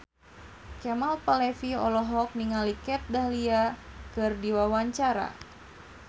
Kemal Palevi olohok ningali Kat Dahlia keur diwawancara